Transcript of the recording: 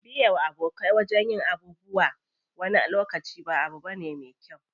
Biye wa abokai wajen yin abubuwa wani lokaci ba abu bane me kyau.